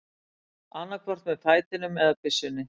Annaðhvort með fætinum eða byssunni.